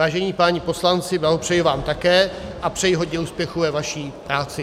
Vážení páni poslanci, blahopřeji vám také a přeji hodně úspěchů ve vaší práci.